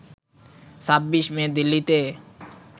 ২৬ May দিল্লিতে